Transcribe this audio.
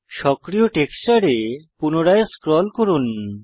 সক্রিয় টেক্সচারে পুনরায় স্ক্রল করুন